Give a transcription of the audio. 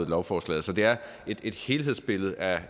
lovforslaget så det er et helhedsbillede af